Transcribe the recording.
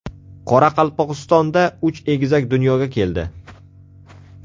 Qoraqalpog‘istonda uch egizak dunyoga keldi.